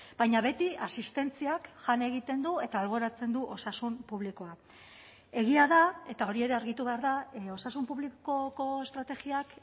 baina beti asistentziak jan egiten du eta alboratzen du osasun publikoa egia da eta hori ere argitu behar da osasun publikoko estrategiak